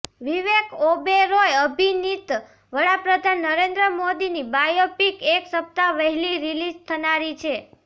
વિવેક ઓબેરોય અભિનિત વડાપ્રધાન નરેન્દ્ર મોદીની બાયોપિક એક સપ્તાહ વહેલી રીલીઝ થનારી છે